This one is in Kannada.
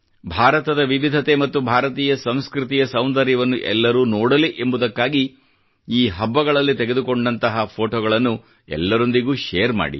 ಭಾರತದ ವಿವಿಧತೆ ಮತ್ತು ಭಾರತೀಯ ಸಂಸ್ಕೃತಿಯ ಸೌಂದರ್ಯವನ್ನು ಎಲ್ಲರೂ ನೋಡಲಿ ಎಂಬುದಕ್ಕಾಗಿ ಈ ಹಬ್ಬಗಳಲ್ಲಿ ತೆಗೆದುಕೊಂಡಂತಹ ಫೋಟೊಗಳನ್ನು ಎಲ್ಲರೊಂದಿಗೆ ಶೇರ್ ಮಾಡಿ